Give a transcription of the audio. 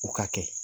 U ka kɛ